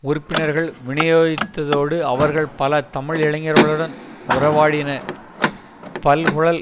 உறுப்பினர்கள் விநியோகித்ததோடு அவர்கள் பல தமிழ் இளைஞர்களுடன் உறவாடினர் பல்குழல்